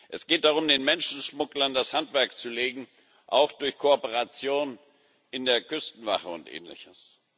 Es geht darum, den Menschenschmugglern das Handwerk zu legen, auch durch Kooperation in der Küstenwache und ähnliches.